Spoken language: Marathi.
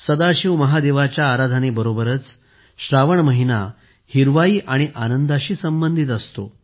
सदाशिव महादेवाच्या आराधनेसोबतच श्रावण महिना हिरवाई आणि आनंदाशी संबंधित असतो